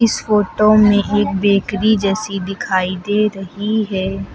इस फोटो में एक बेकरी जैसी दिखाई दे रही है।